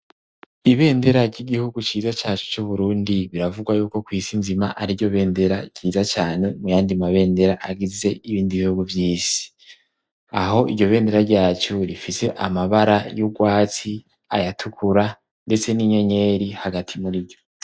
Ibendera ry'igihugu ciza cacu c'uburundi, biravugwa yuko kw'isi nzima ari ryo bendera ryiza cane mu yandi mabendera agize ibindi bihugu vyisi ,aho iryo bendera ryacu rifise amabara y'urwatsi ,ayatukura ,ndetse n'inyenyeri hagati muri vyo.